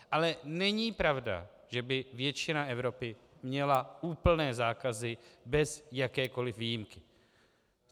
Ale není pravda, že by většina Evropy měla úplné zákazy bez jakékoli výjimky.